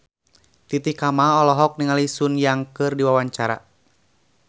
Titi Kamal olohok ningali Sun Yang keur diwawancara